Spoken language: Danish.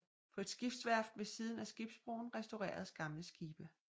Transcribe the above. På et skibsværft ved siden af skibsbroen restaureres gamle skibe